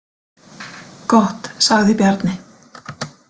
Gott, sagði Bjarni.